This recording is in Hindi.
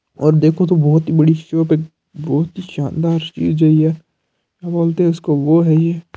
और देखो तो बहुत ही बड़ी शॉप है बहुत ही शानदार फ्रिज है ये क्या बोलते है इसको वो है ये।